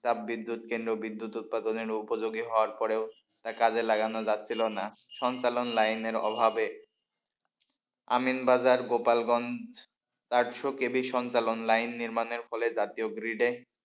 তাপ বিদ্যুৎ কেন্দ্র বিদ্যুৎ উৎপাদনের উপযোগী হওয়ার পরেও তা কাজে লাগানো যাচ্ছিল না সঞ্চালন লাইনের অভাবে। আমিনবাজার গোপালগঞ্জ চারশো কেবি সঞ্চালন লাইন নির্মাণের ফলে জাতীয় grid য়ে,